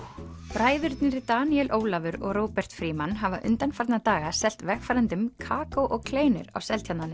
bræðurnir Daníel Ólafur og Róbert Frímann hafa undanfarna daga selt vegfarendum kakó og kleinur á Seltjarnarnesi